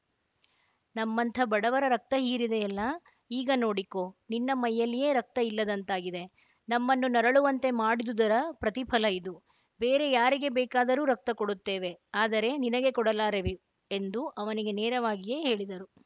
ನಮ್ಮಂಥ ಬಡವರ ರಕ್ತ ಹೀರಿದೆಯಲ್ಲ ಈಗ ನೋಡಿಕೋ ನಿನ್ನ ಮೈಯಲ್ಲಿಯೇ ರಕ್ತ ಇಲ್ಲದಂತಾಗಿದೆ ನಮ್ಮನ್ನು ನರಳುವಂತೆ ಮಾಡಿದುದರ ಪ್ರತಿಫಲ ಇದು ಬೇರೆ ಯಾರಿಗೆ ಬೇಕಾದರೂ ರಕ್ತ ಕೊಡುತ್ತೇವೆ ಆದರೆ ನಿನಗೆ ಕೊಡಲಾರೆವೆ ಎಂದು ಅವನಿಗೆ ನೇರವಾಗಿಯೇ ಹೇಳಿದರು